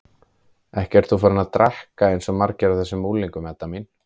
Ekki ert þú farin að drekka eins og margir af þessum unglingum, Edda mín?